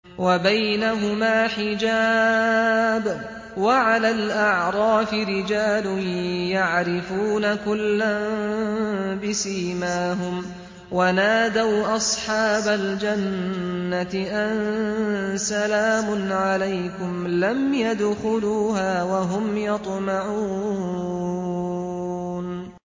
وَبَيْنَهُمَا حِجَابٌ ۚ وَعَلَى الْأَعْرَافِ رِجَالٌ يَعْرِفُونَ كُلًّا بِسِيمَاهُمْ ۚ وَنَادَوْا أَصْحَابَ الْجَنَّةِ أَن سَلَامٌ عَلَيْكُمْ ۚ لَمْ يَدْخُلُوهَا وَهُمْ يَطْمَعُونَ